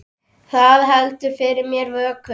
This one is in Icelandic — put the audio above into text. Það heldur fyrir mér vöku.